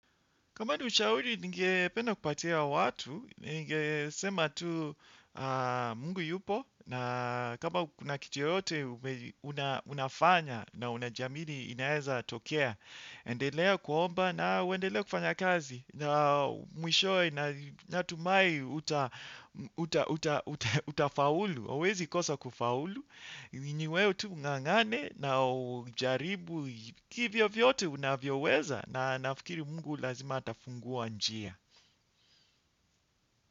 Kama ni ushauri ningependa kupatia watu, ningesema tu Mungu yupo na kama kuna kitu yoyote unafanya na unajiamini inaweza tokea. Endelea kuomba na uendelee kufanya kazi na mwishowe natumai utafaulu. Huwezi kosa kufaulu, ni wewe tu ungangane na ujaribu hivyo vyote unavyoweza na nafMkiri mungu lazima atafungua njia.